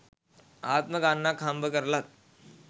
ආත්ම ගාණක් හම්බ කරලත්